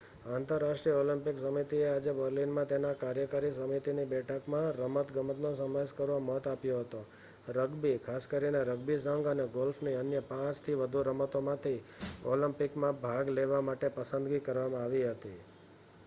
આંતરરાષ્ટ્રીય ઓલિમ્પિક સમિતિએ આજે બર્લિનમાં તેની કાર્યકારી સમિતિની બેઠકમાં રમતગમતનો સમાવેશ કરવા મત આપ્યો હતો રગ્બી ખાસ કરીને રગ્બી સંઘ અને ગોલ્ફની અન્ય 5થી વધુ રમતોમાંથી ઓલિમ્પિકમાં ભાગ લેવા માટે પસંદગી કરવામાં આવી હતી